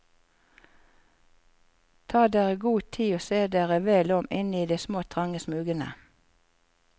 Ta dere god tid og se dere vel om inne i de små trange smugene.